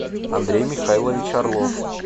андрей михайлович орлов